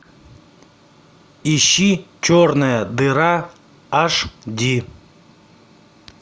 ищи черная дыра аш ди